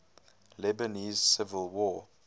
lebanese civil war